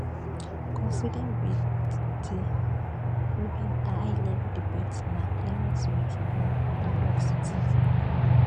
coinciding wit di un high level debate na climate week in new york city